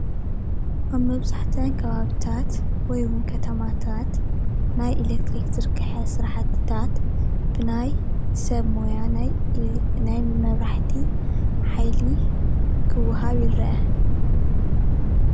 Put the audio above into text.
ኣብ መብዛሕተአኔ ከባብታት ይ ድማ ኸተማታት ናይ ኤልክትሪክ ዝርገሐ ስራሕትታት ብናይ መብራህቲ ሓያሊ ሰራሕተኛታት ክወሃብ ይርአ።